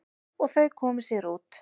Og þau komu sér út.